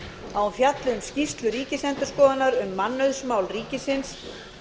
að hún fjalli um skýrslu ríkisendurskoðunar um mannauðsmál ríkisins